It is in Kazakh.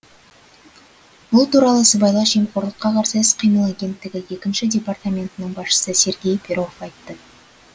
бұл туралы сыбайлас жемқорлыққа қарсы іс қимыл агенттігі екінші департаментінің басшысы сергей перов айтты